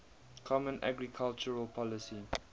common agricultural policy